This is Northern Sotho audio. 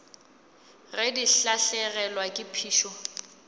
ge di lahlegelwa ke phišo